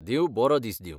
देव बरो दीस दिवं.